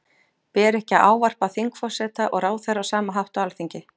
Ber ekki að ávarpa þingforseta og ráðherra á sama hátt á Alþingi?